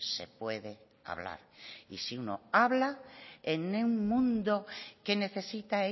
se puede hablar y si uno habla en un mundo que necesita